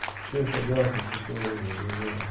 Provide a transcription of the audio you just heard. все согласны с условиями режима